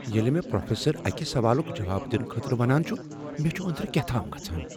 ییٚلہ مےٚ پروفیسر اکہ سوالک جواب دنہٕ خٲطرٕ ونان چھ مے چُھ اندرٕ كیاہ تام گژھان ۔